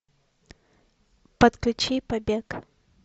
подключи побег